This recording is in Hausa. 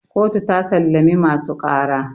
kotu ta sallami masu ƙara